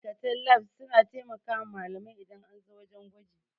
Ma'aikatan lab suna taimakawa malamai idan an zo wajan gwaji